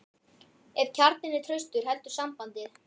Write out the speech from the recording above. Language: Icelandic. Ef kjarninn er traustur heldur sambandið.